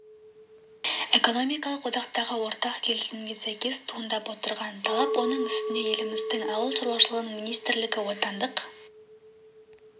экономикалық одақтағы ортақ келісімге сәйкес туындап отырған талап оның үстіне еліміздің ауыл шаруашылығы министрлігі отандық